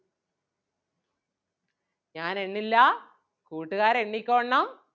ഞാൻ എണ്ണില്ലാ കൂട്ടുകാർ എണ്ണിക്കോളണം.